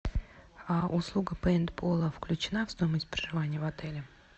услуга пейнтбола включена в стоимость проживания в отеле